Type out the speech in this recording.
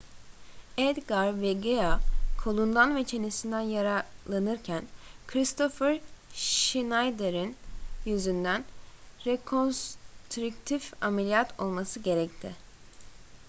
edgar veguilla kolundan ve çenesinden yaralanırken kristoffer schneider'in yüzünden rekonstrüktif ameliyat olması gerekti